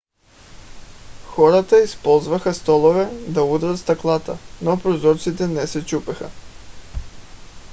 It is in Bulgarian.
хората използваха столове да удрят стъклата но прозорците не се чупеха